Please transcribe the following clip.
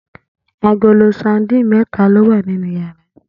Agolo sadíìnì mé̩ta ló wà nínú yàrá